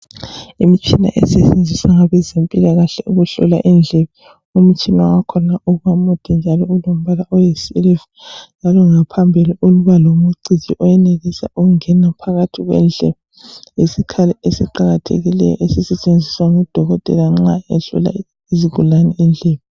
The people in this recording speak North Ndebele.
Imitshina esetshenziswa ngabezempilakahle ukuhlola indlebe umtshina wakhona uba mude njalo ulombala oyisiliva njalo ngaphambili uba lomciji oyenelisa ukungena phakathi kwendlebe lesikhala esiqakathekileyo esisetshenziswa ngudokotela nxa ehlola isigulane indlebe.